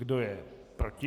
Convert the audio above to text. Kdo je proti?